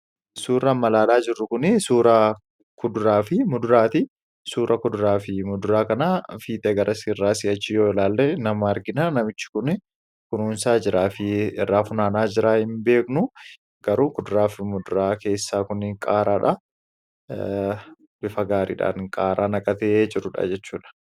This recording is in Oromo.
Suurri amma ilaalaa jirru Kun, suuraa kuduraa fi muduraati. Suura kuduraa fi muduraa kana adda garas irraa akkas yoo ilaalle namicha argina. Namichi kunii kunuunsaa jiraa fi irraa guuraa jiraa hin beeknu garuu kuduraa fi muduraa keessaa Kun qaaraadha. Bifa gaariidhaan qaaraa naqatee jirudha jechuudha.